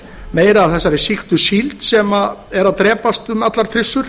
meira af þessari sýktu síld sem er að drepast um allar trissur